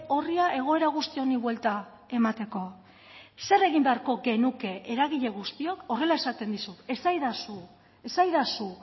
orria egoera guzti honi buelta emateko zer egin beharko genuke eragile guztiok horrela esaten dizut esadazu esadazu